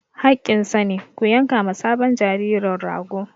Haƙƙinsa ne, ku yanka ma sabon jaririn rago!